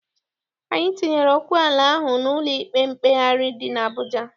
Anyị tinyere okwu ala ahụ n'ụlọ ikpe mkpegharị dị n'Abụja.